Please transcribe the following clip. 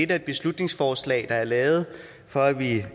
det et beslutningsforslag der er lavet for at vi